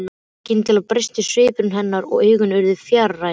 Skyndilega breyttist svipur hennar og augun urðu fjarræn.